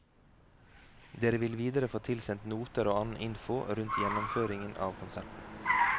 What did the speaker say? Dere vil videre få tilsendt noter og annen info rundt gjennomføringen av konserten.